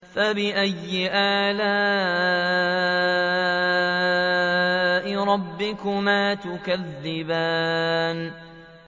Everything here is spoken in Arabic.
فَبِأَيِّ آلَاءِ رَبِّكُمَا تُكَذِّبَانِ